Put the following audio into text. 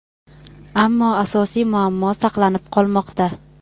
ammo asosiy muammo saqlanib qolmoqda.